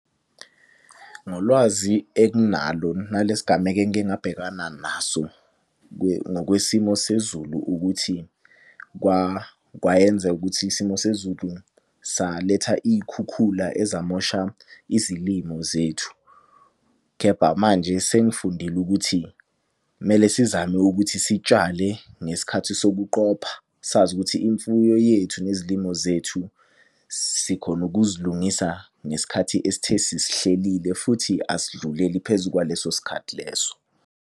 Ngolwazi enginalo nale sigameko engike ngabhekana naso ngokwesimo sezulu ukuthi kwayenza ukuthi isimo sezulu saletha iy'khukhula ezamosha izilimo zethu. Khepha manje sengifundile ukuthi kumele sizame ukuthi sitshale ngesikhathi sokuqopha. Sazi ukuthi imfuyo yethu nezilimo zethu sikhone ukuzilungisa ngesikhathi esithe sisihlelile futhi asidluleli phezu kwaleso sikhathi leso.